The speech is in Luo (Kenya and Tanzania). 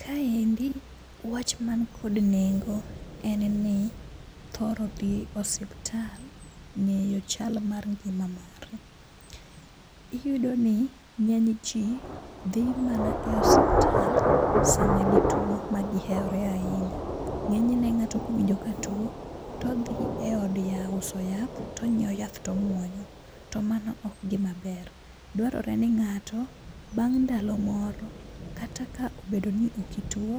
Kaendi wach man kod nengo en ni thoro dhi e osiptal, ng'eyo chal mar ngima mari. Iyudo ni ng'eny ji dhi mana e osiptal sama gituo ma gihewore ahinya. Ng'eny ne ng'ato kowinjo ka tuo, todhi e od ya uso yath, tonyiewo yath tomuonyo, to mano ok gima ber. Dwarore ni ng'ato, bang' ndalo moro kata ka obedo ni okituo,